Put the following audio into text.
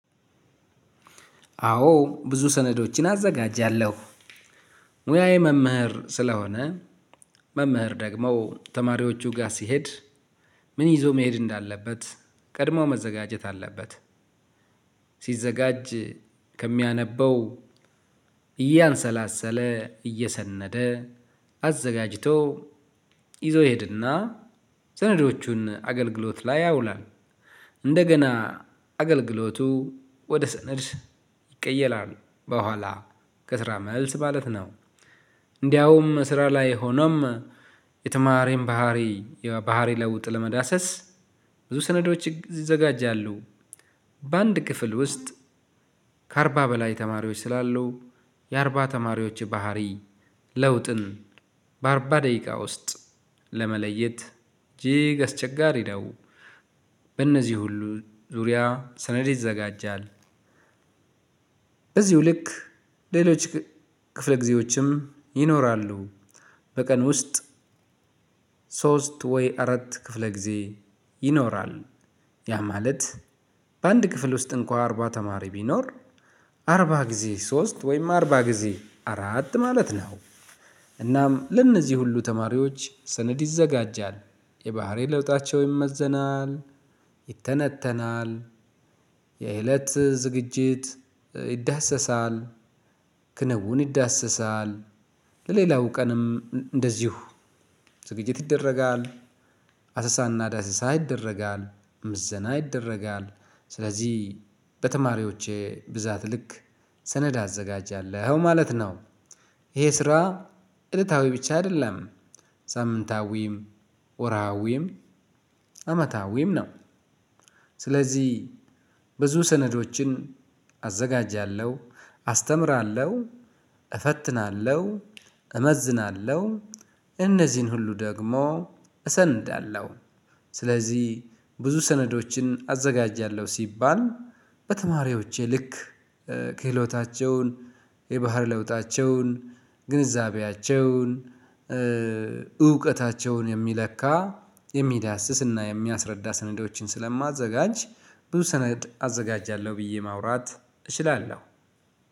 አዎ ብዙ ሰነዶችን አዘጋጃለሁ ሙያዬ መምህር ስለሆነ፤ መምህር ደግሞ ተማሪዎቹ ጋር ሲሄድ ምን ይዞ መሄድ እንዳለበት፤ ቀድሞ መዘጋጀት አለበት ሲዘጋጅ ከሚያነበው እያንሰላሰለ፣ እየሰነደ አዘጋጅቶ ይዞ ይሄድና ሰነዶቹን አገልግሎት ላይ ያውላል። እንደገና አገልግሎቱ ወደ ሰነድ ይቀየራል በኋላ ከስራ መልስ ማለት ነው። እንዲያውም ስራ ላይ ሆኖም የተማሪም ባህሪ ባህሪ ለውጥ ለመዳሰስ ብዙ ሰነዶች ይዘጋጃሉ በአንድ ክፍል ውስጥ ከአርባ በላይ ተማሪዎች ስላሉ፤ የአርባ ተማሪዎች ባህሪ ለውጥን በአርባ ደቂቃ ውስጥ ለመለየት ጅግ አስቸጋሪ ነው። በእነዚህ ሁሉ ዙሪያ ሰነድ ይዘጋጃል። በዚሁ ልክ ሌሎች ክፍለ ጊዜዎችም ይኖራሉ። በቀን ውስጥ ሶስት ወይ አራት ክፍለ ጊዜ ይኖራል። ያ ማለት በአንድ ክፍል ውስጥ እንኳን አርባ ተማሪ ቢኖር አርባ ጊዜ ሶስት ወይም አርባ ጊዜ አራት ማለት ነው። እናም ለእነዚህ ሁሉ ተማሪዎች ስነድ ይዘጋጃል፤ የባህሪ ለውጣቸው ይመዘናል፣ ይተነተናል የእለት ዝግጅት ይዳሰሳል፤ ክንውን ይዳሰሳል ለሌላው ቀንም እንደዚሁ ዝግጅት ይደረጋል አሰሳና ዳሰሳ ይደረጋል፤ ምዘና ይደረጋል ስለዚህ በተማሪዎቼ ብዛት ልክ ሰነድ አዘጋጃለሁ ማለት ነው። ይሄ ስራ እለታዊ ብቻ አይደለም፤ ሳምንታዊም፣ ወራዊም፣ አመታዊም ነው። ስለዚህ ብዙ ሰነዶችን አዘጋጃለሁ፣ አስተምራለሁ፣ እፈትናለሁ፣ እመዝናለሁ፣ እነዚህን ሁሉ ደግሞ እሰንዳለሁ። ስለዚህ ብዙ ሰነዶችን አዘጋጃለሁ ሲባል በተማሪዎቼ ልክ ክህሎታቸውን፣ የባህር ለውጣቸውን፣ ግንዛቤያቸውን፣ እውቀታቸውን የሚለካ የሚዳስስና የሚያስረዳ ሰነዶችን ስለማዘጋጅ፤ ብዙ ሰነድ አዘጋጃለሁ ብዬ ማውራት እችላለሁ።